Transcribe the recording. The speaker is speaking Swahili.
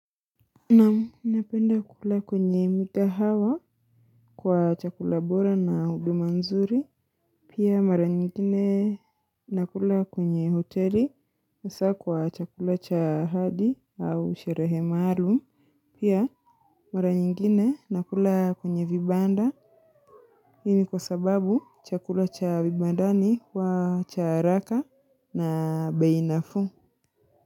Naam, napenda kula kwenye migahawa kwa chakula bora na huduma nzuri. Pia mara nyingine nakula kwenye hoteli hasaa kwa chakula cha ahadi au sherehe maalum. Pia mara nyingine nakula kwenye vibanda. Hii ni kwa sababu chakula cha vibandani huwa cha haraka na bei nafuu.